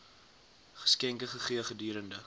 geskenke gegee gedurende